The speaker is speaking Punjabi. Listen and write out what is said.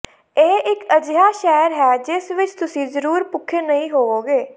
ਇਹ ਇੱਕ ਅਜਿਹਾ ਸ਼ਹਿਰ ਹੈ ਜਿਸ ਵਿੱਚ ਤੁਸੀਂ ਜ਼ਰੂਰ ਭੁੱਖੇ ਨਹੀਂ ਹੋਵੋਗੇ